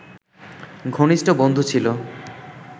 ঘনিষ্ট বন্ধু ছিল